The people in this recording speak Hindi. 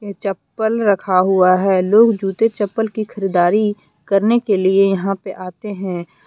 ये चप्पल रखा हुआ है लोग जूते चप्पल की खरीदारी करने के लिए यहां पर आते हैं।